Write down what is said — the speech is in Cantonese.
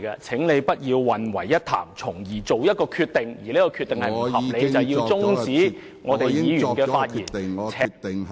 請你不要混為一談，從而作出一個不合理的決定，便是終止議員的發言......